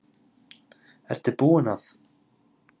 Ertu búin að.